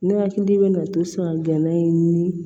Ne hakili bɛna to so gɛnɛ ye ni